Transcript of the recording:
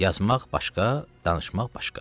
Yazmaq başqa, danışmaq başqa.